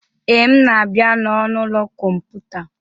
Ee, m na-abịa n'ọnụ ụlọ kọmputa.